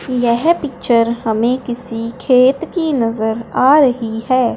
यह पिक्चर हमें किसी खेत की नजर आ रही है।